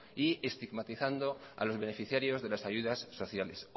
y estigmatizando a los beneficiarios de las ayudas sociales